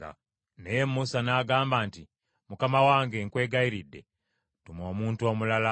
Naye Musa n’agamba nti, “Mukama wange, nkwegayiridde tuma omuntu omulala.”